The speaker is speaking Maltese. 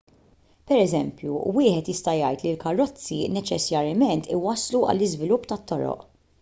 pereżempju wieħed jista' jgħid li l-karozzi neċessarjament iwasslu għall-iżvilupp ta' toroq